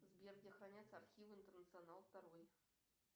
сбер где хранятся архивы интернационал второй